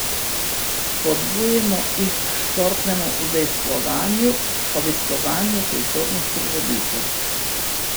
Spodbujamo jih k športnemu udejstvovanju, obiskovanju kulturnih prireditev.